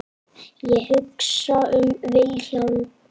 Ég hugsa um Vilhjálm.